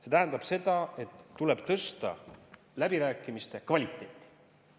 See tähendab seda, et tuleb tõsta läbirääkimiste kvaliteeti.